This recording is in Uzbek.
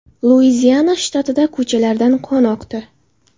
Luiziana shtatida ko‘chalardan qon oqdi.